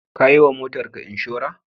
Ka yiwa motarka inshora?